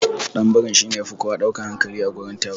Ɗanbiri shine yafi kowa ɗaukan hankali a gurin taron.